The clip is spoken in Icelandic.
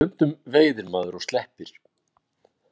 Stundum veiðir maður og sleppir.